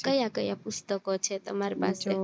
કયા કયા પુસ્તકઓ છે તમારી પાસે